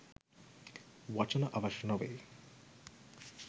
වචන අවශ්‍ය නොවේ.